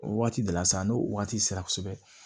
O waati de la sa n'o waati sera kosɛbɛ